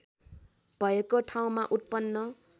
भएको ठाउँमा उत्पन्न